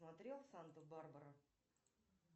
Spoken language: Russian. смотрел санту барбара